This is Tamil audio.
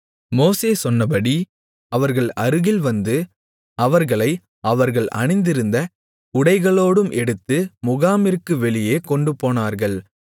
மோசே சொன்னபடி அவர்கள் அருகில் வந்து அவர்களை அவர்கள் அணிந்திருந்த உடைகளோடும் எடுத்து முகாமிற்கு வெளியே கொண்டுபோனார்கள்